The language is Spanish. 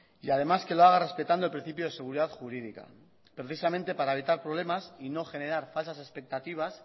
y además que lo haga respetando el principio de seguridad jurídica precisamente para evitar problemas y no generar falsas expectativas